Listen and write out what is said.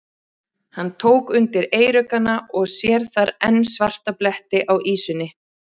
Hann tók undir eyruggana og sér þar enn svarta bletti á ýsunni.